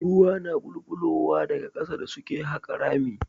Ruwa na ɓulɓulowa daga ƙasa da suke haƙa rami.